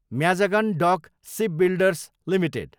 Mazagon dock shipbuilders Ltd